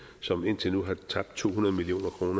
som indtil nu har tabt to hundrede million kroner